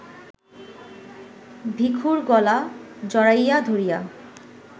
ভিখুর গলা জড়াইয়া ধরিয়া